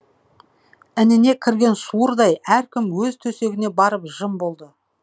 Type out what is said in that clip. ініне кірген суырдай әркім өз төсегіне барып жым болды